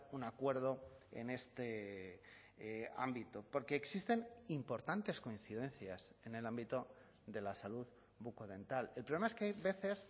un acuerdo en este ámbito porque existen importantes coincidencias en el ámbito de la salud bucodental el problema es que hay veces